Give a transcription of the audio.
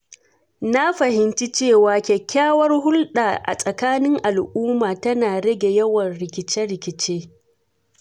Na fahimci cewa kyakkyawar hulɗa a tsakanin al’umma tana rage yawan rikice-rikice.